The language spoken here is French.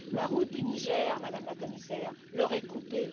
La route du Niger, Madame la Commissaire, leur est coupée.